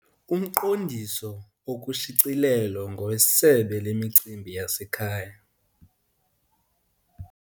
Umqondiso okushicilelo ngowesebe lemicimbi yasekhaya.